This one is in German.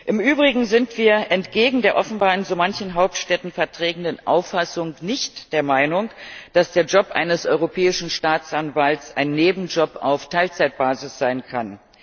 Im Übrigen sind wir entgegen der offenbar in so manchen Hauptstädten vertretenen Auffassung nicht der Meinung, dass der Job eines Europäischen Staatsanwalts ein Nebenjob auf Teilzeitbasis sein kann.